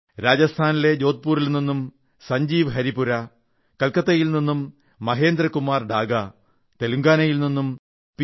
രാജസ്ഥാനിലെ ജോധ്പുരിൽ നിന്നും സഞ്ജീവ് ഹരിപുരാ കൽക്കട്ടയിൽ നിന്നും മഹേന്ദ്ര കുമാർ ഡാഗാ തെലങ്കാനയിൽ നിന്നും പി